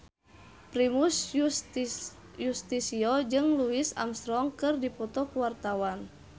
Primus Yustisio jeung Louis Armstrong keur dipoto ku wartawan